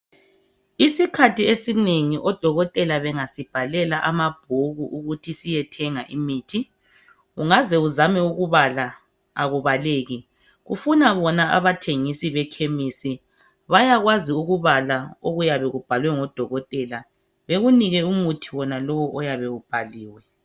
Isikhathi esinengi odokotela bengasibhalela amabhuku ukuthi siyethenga imithi, ungaze uzame ukubala akubaleki, kufuna bona abathengisi bekhemisi, bayakwazi ukubala okuyabe kubhaliwe ngodokotela, bekunike umuthi wonalowu oyabe ubhaliwe.